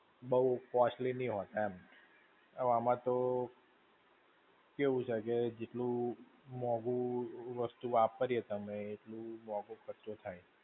બહું costly નહિ હોતા એમ. હવે આમાં તો, કેવું છે કે જેટલું, મોંઘુ વસ્તુ વાપરીએ તમે એટલું મોંઘો ખર્ચો થાય.